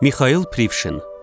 Mixail Prişvin.